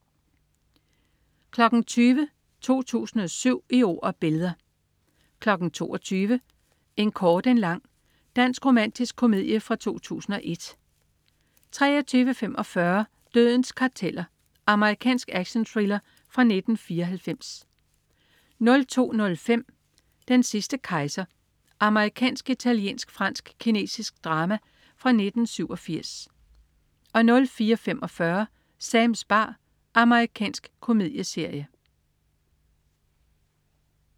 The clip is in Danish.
20.00 2007: Året i ord og billeder 22.00 En kort en lang. Dansk romantisk komedie fra 2001 23.45 Dødens karteller. Amerikansk actionthriller fra 1994 02.05 Den sidste kejser. Amerikansk-italiensk-fransk-kinesisk drama fra 1987 04.45 Sams bar. Amerikansk komedieserie